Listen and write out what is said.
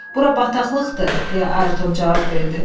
Bura bataqlıqdır, deyə Ayrton cavab verdi.